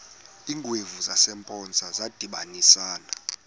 iingwevu zasempoza zadibanisana